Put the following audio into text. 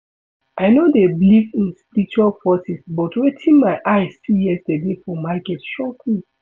I no dey believe in spiritual forces but wetin my eye see yesterday for market shock me